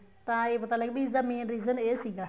ਤਾਂ ਇਹ ਪਤਾ ਲੱਗਿਆ ਵੀ ਇਸ ਦਾ main region ਇਹ ਸੀਗਾ